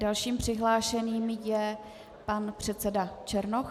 Dalším přihlášeným je pan předseda Černoch.